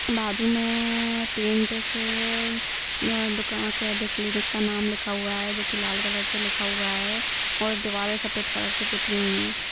बाजू में ए पेंट से दूकान क्लिनिक का नाम लिखा हुआ है जो की लाल कलर से लिखा हुआ है और दीवारें सफ़ेद कलर से पुती हुई हैं।